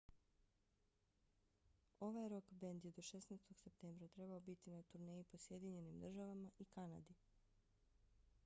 ovaj rok bend je do 16. septembra trebao biti na turneji po sjedinjenim državama i kanadi